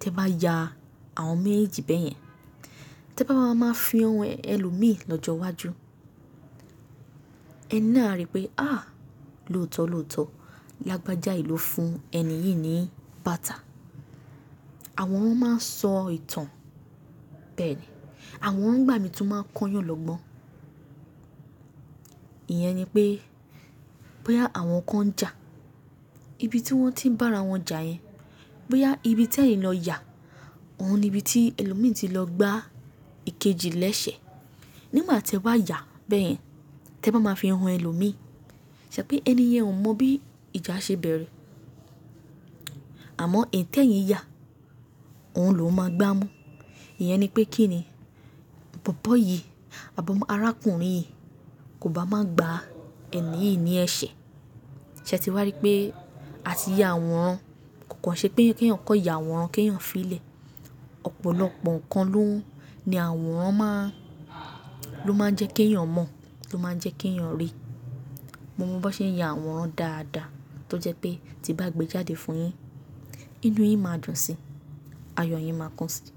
Tẹ bá ya àwọn méjì bẹ́ẹ̀ yẹn, tẹ bá máa máa fi hàn ẹlòmíràn lọ́jọ́ iwájú, ẹni náà á rí i pé à, lóòótọ́ lóòótọ́, làgbájá yìí ló fún ẹni yìí ní bàtà. Àwọran máa ń sọ ìtàn bẹ́ẹ̀ ni. Àwọran ńgbà mí tún máa ń kọ́ yàn lọ́gbọ́n. Ìyẹn ni pé bóyá àwọn ǹkan ń jà, ibi tí wọ́n ti ń bá ara wọn jà yẹn, bóyá ibi tí ẹ̀yin lọ ya òun ni ibi tí ẹlòmíràn tí lọ gba ìkejì lẹ́sẹ̀. Nígbà tí ẹ wá ya bẹ́ẹ̀ yẹn, tẹ bá máa fi hàn ẹlòmíràn, ṣẹ́ pé ẹni yẹn ò mọ̀ bí ìjà ṣe bẹ̀rẹ̀, àmọ́ èyí tí ẹ̀yin ya òun lóun máa gbá mú. Ìyẹn ni pé kí ni bọ̀bọ́ yen àbọ̀ ọmọ arákùnrin yìí kò bá máa gba ẹni yìí ní ẹsẹ̀. Ṣé ẹ ti wá rí i pé a ti ya àwọran kò kàn ṣe pé kí ẹ̀yàn kọ́ ya àwọn kí ẹ̀yàn fi lè. Ọ̀pọ̀lọpọ̀ ǹkan ló ń ni àwọn ọ̀rọ̀ má ń ló máa ń jẹ́ kí ẹ̀yàn mọ̀, tó máa ń jẹ́ kí ẹ̀yàn rí. Mo mọ̀ bó ṣe ń ya àwọran dáadáa tó jẹ́ pé tí bá gbé jáde fún yín, inú yín máa dùn sí i, ayọ̀ yín máa kún si i.